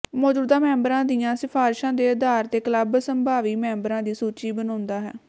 ਮੌਜੂਦਾ ਮੈਂਬਰਾਂ ਦੀਆਂ ਸਿਫ਼ਾਰਸ਼ਾਂ ਦੇ ਆਧਾਰ ਤੇ ਕਲੱਬ ਸੰਭਾਵੀ ਮੈਂਬਰਾਂ ਦੀ ਸੂਚੀ ਬਣਾਉਂਦਾ ਹੈ